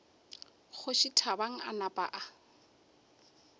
kgoši thabang a napa a